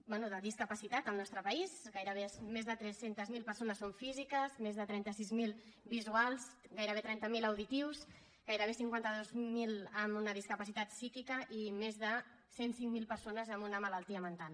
bé de discapacitat al nostre país gairebé més de tres cents miler persones són físiques més de trenta sis mil visuals gairebé trenta miler auditius gairebé cinquanta dos mil amb una discapacitat psíquica i més de cent i cinc mil persones amb una malaltia mental